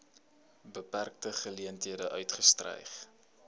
beperkte geleenthede uitgestyg